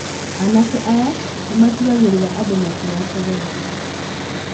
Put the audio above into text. Anake aya nĩmatigagĩrĩra andũ matiracogothana.